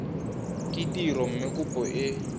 ke tiro mme kopo e